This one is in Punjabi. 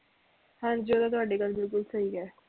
ਹਾਂਜੀ ਉਹ ਤੇ ਗੱਲ ਤੁਹਾਡੀ ਬਿਲਕੁਲ ਸਹੀ ਐ